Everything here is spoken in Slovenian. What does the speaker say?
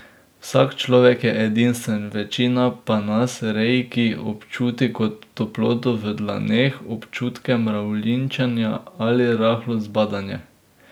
Vsak človek je edinstven, večina pa nas reiki občuti kot toploto v dlaneh, občutke mravljinčenja ali rahlo zbadanje.